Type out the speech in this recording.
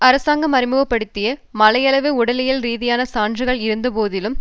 அரசாங்கம் அறிமுக படுத்திய மலையளவு உடலியல் ரீதியான சான்றுகள் இருந்தபோதிலும்